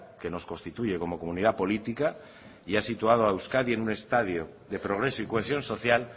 que nos constituye como comunidad política y ha situado a euskadi en un estadio de progreso y cohesión social